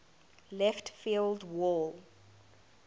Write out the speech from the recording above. left field wall